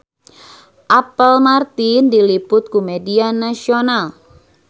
Apple Martin diliput ku media nasional